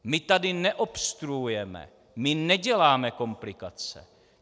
My tady neobstruujeme, my neděláme komplikace.